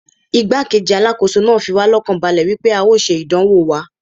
Igbá-kejì Alákóso náà fi wá lọ́kàn balẹ̀ wípé a ó ṣe ìdánwò wa.